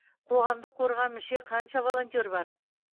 қоғамдық қорға мүше қанша волонтер бар